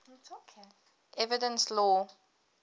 evidence law